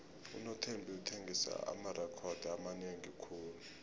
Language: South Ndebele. unothembi uthengise amarekhodo amanengi khulu